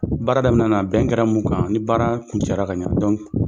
Baara daminɛna bɛn kɛra mun kan ni baara kuncɛra ka ɲɛ